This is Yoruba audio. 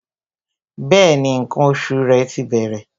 Bẹẹni, ǹkan oṣù rẹ ti bẹ̀rẹ̀